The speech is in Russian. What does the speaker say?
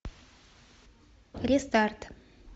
рестарт